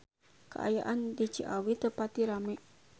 Kaayaan di Ciawi teu pati rame